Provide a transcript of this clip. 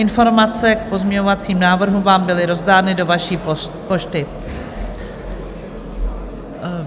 Informace k pozměňovacím návrhům vám byly rozdány do vaší pošty.